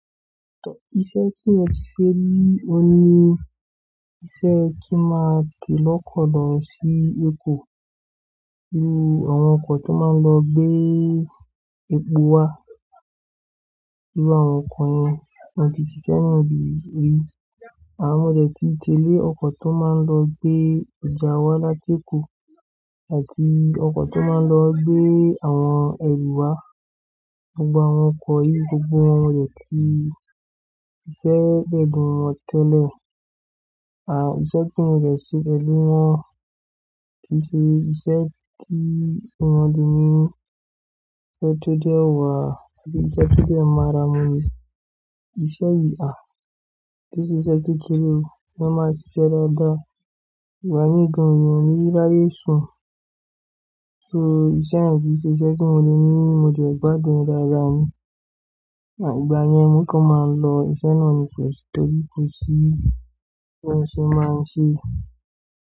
Iṣẹ́ tí mo ti ṣe rí, o ní iṣẹ́ kí máa ń tẹ̀ lọ́kọ̀ lọ sí Èkó, nínú àwọn ọkọ̀ tó máa ń lọ gbé epo wá, bí àwọn ọkọ̀ yẹn a ti ṣiṣẹ́ nínú ibi rí. A mọ̀ jẹ́ tí tẹ́lẹ̀ ọkọ̀ tó máa ń lọ gbé ọjà wá láti Èkó àti ọkọ̀ tó máa ń lọ gbé àwọn ẹrù wá. Gbogbo àwọn ọkọ̀ yìí gbogbo wọn mọ̀ jẹ́ pé iṣẹ́ ẹgbẹ̀rún tẹ́lẹ̀. À, iṣẹ́ tí mo jẹ sí tẹ́lẹ̀ mọ́, kì í ṣe iṣẹ́ tí mo ti ní ọ̀tọ̀tọ̀ wà àti iṣẹ́ tó jẹ́ máa ra mú mi. Ìṣe yìí a, kì í ṣe iṣẹ́ kékeré, bí wọ́n bá ṣe ṣẹ́ dáadáa Ìgbà míì gan mi òní ráyè sùn. So iṣẹ́ ni kíí ṣe iṣẹ́ tí mo le ní, mo jẹ gbádùn rárá oo. Àìgbà yẹn, mó kàn máa ń lọ, iṣẹ́ náà ni mo ṣetọjú kù sí, kí n sì máa ń ṣe é.